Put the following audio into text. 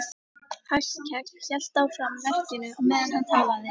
Hallkell hélt áfram verkinu á meðan hann talaði.